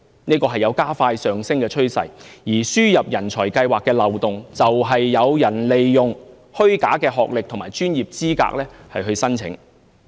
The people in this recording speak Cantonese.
有關數字有加快上升的趨勢，而輸入人才計劃的漏洞，便是有人利用虛假學歷和專業資格作申請。